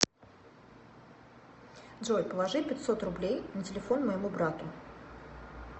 джой положи пятьсот рублей на телефон моему брату